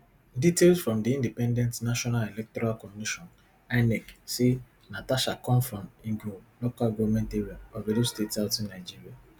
details from di independent national electoral commission inec say natasha come from egor local goment area of edo state southern nigeria